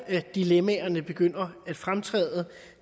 her dilemmaerne begynder at fremtræde